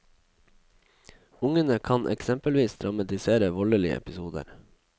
Ungene kan eksempelvis dramatisere voldelige episoder.